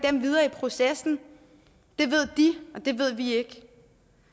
processen ved de det ved vi ikke